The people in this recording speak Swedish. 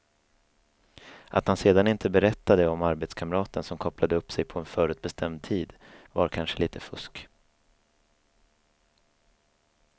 Att han sedan inte berättade om arbetskamraten som kopplade upp sig på en förutbestämd tid var kanske lite fusk.